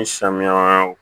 Ni samiya